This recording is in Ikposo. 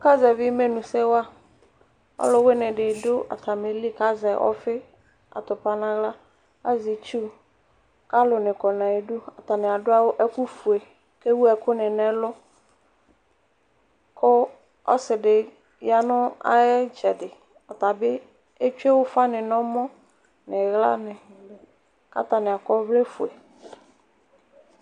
Aka zɛvi imenʋsɛ wa ɔlʋwini didʋ atami ɛtʋ kʋ azɛ ɔfiatʋpa nʋ aɣla azɛ itsʋ kʋ alʋni kɔ nʋ ayidʋ atani adʋ ɛkʋfue kʋ ewʋ ɛkʋni nʋ ɛlʋ kʋ ɔsidi yanʋ ayʋ itsɛdi ɔtabi etsue ufani nʋ ɔma nʋ iɣlani kʋ atani akɔ ɔvlɛfue